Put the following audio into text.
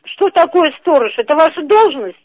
что такое сторож это ваша должность